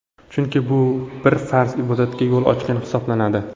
Chunki u bir farz ibodatga yo‘l ochgan hisoblanadi.